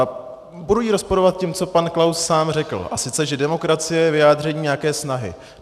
A budu ji rozporovat tím, co pan Klaus sám řekl, a sice, že demokracie je vyjádření nějaké snahy.